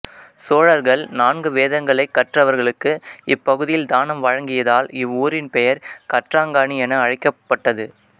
சோழர்கள் நான்கு வேதங்களைக் கற்றவர்களுக்கு இப்பகுதியில் தானம் வழங்கியதால் இவ்வூரின் பெயர் கற்றாங்காணி என அழைக்கப்பட்டது